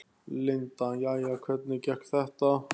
Linda: Jæja, hvernig gekk þetta?